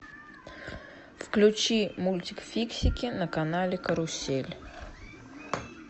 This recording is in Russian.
включи мультик фиксики на канале карусель